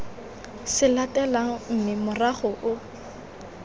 se latelang mme morago o